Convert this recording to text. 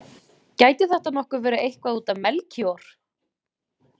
Gæti þetta nokkuð verið eitthvað út af Melkíor?